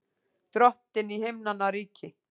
Drottinn í himnanna ríki!